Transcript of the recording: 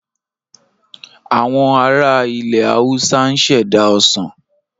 Àwọn ara ilẹ̀ Haúsá ń ṣẹ̀dá Ọsàn